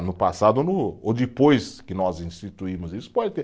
No passado ou no, ou depois que nós instituímos isso, pode ter